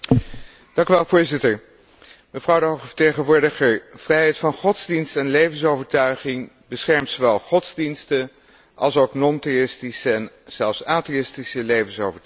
Voorzitter, mevrouw de hoge vertegenwoordiger, vrijheid van godsdienst en levensovertuiging beschermt zowel godsdiensten alsook non theïstische en zelfs atheïstische levensovertuigingen.